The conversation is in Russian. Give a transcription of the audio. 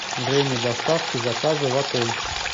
время доставки заказа в отель